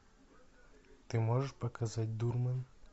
ты можешь показать дурман